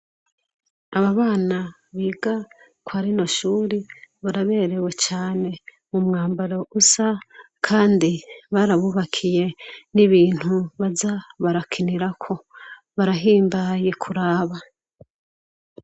Aba bana biga kwa rino shure baraberewe cane umwambaro usa kandi barabubakiye n'ibintu baza barakinirako barahimbaye kuraba.